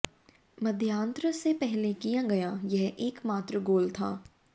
मध्यांतर से पहले किया गया यह एकमात्र गोल था